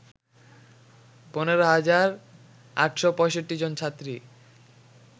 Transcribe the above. ১৫ হাজার ৮৬৫ জন ছাত্রী